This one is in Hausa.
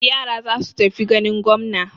Yara za su tafi ganin gwamna.